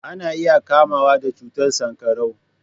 Ana iya kamuwa da cutar sankarau.